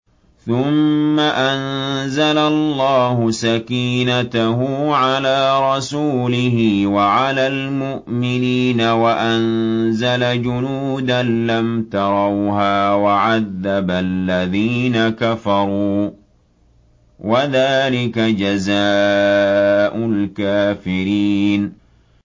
ثُمَّ أَنزَلَ اللَّهُ سَكِينَتَهُ عَلَىٰ رَسُولِهِ وَعَلَى الْمُؤْمِنِينَ وَأَنزَلَ جُنُودًا لَّمْ تَرَوْهَا وَعَذَّبَ الَّذِينَ كَفَرُوا ۚ وَذَٰلِكَ جَزَاءُ الْكَافِرِينَ